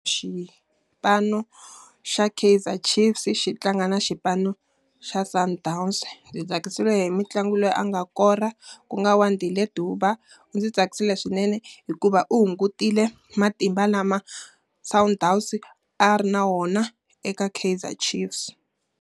Xipano xa Keizer Chiefs xi tlanga na xipano xa Sundowns. Ndzi tsakisiwile hi mutlangi loyi a nga kora, ku nga Wandile Duba. U ndzi tsakisile swinene hikuva u hungutile matimba lama Sundowns a ri na wona eka Keizer Chiefs.